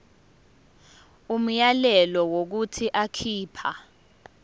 umyalelo wokuthi akhipha